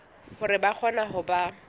hore ba kgone ho ba